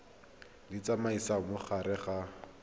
di tsamaisa mo gare ga